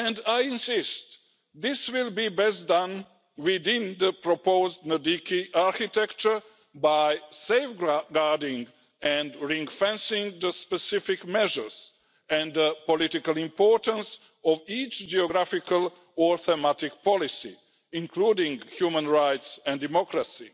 I insist that this will be best done within the proposed NDICI architecture by safeguarding and ring-fencing the specific measures and the political importance of each geographical and thematic policy, including human rights and democracy.